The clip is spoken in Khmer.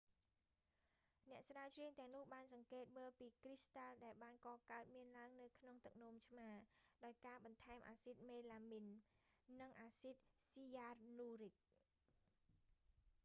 អ្នកស្រាវជ្រាវទាំងនោះបានសង្កេតមើលពីគ្រីស្តាល់ដែលបានកកើតមានឡើងនៅក្នុងទឹកនោមឆ្មា ដោយការបន្ថែមអាស៊ីតមេឡាមីន និងអាស៊ីតស៊ីយ៉ានូរិច